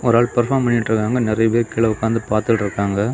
ஒரு ஆல் பெர்ஃபார்ம் பனிட்ருக்காங்க நெறைய பேர் கீழே உட்கார்ந்து பார்த்துட்டு இருக்காங்க.